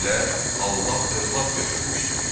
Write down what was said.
Dedilər: Allah övlad götürmüşdür.